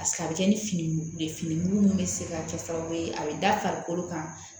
a bɛ kɛ ni fini mugu ye fini mugu min bɛ se ka kɛ sababu ye a bɛ da farikolo kan